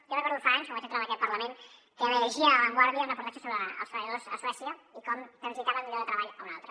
jo recordo fa anys quan vaig entrar en aquest parlament que vaig llegir a la vanguardia un reportatge sobre els treballadors a suècia i com transitaven d’un lloc de treball a un altre